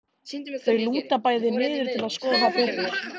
Þau lúta bæði niður til að skoða það betur.